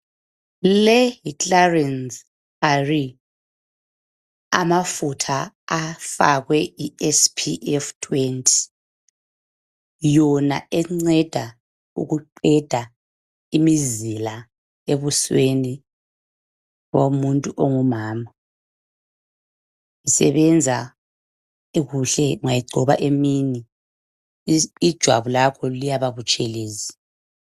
Le yi Clarins Arin, amafutha afakwe iSPF20, yona enceda eqeda imizila ebusweni bomuntu ongumama, isebenza kuhle ungayigcoba emini ijwabu lakho liyababutshelezi